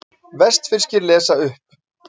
Vestfirskir lesa upp